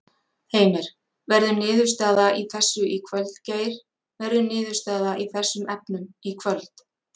Heimir: Verður niðurstaða í þessu í kvöld Geir, verður niðurstaða í þessum efnum í kvöld?